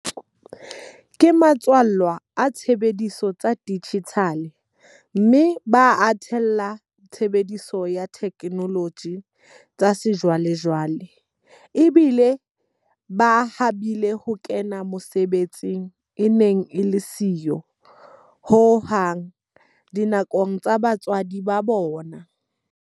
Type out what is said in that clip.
Ke matswallwa a disebediswa tsa dijithale mme ba a the lla tshebedisong ya ditheknoloji tsa sejwalejwale, ebile ba habile ho kena mesebetsing e neng e le siyo ho hang dinakong tsa batswadi ba bona.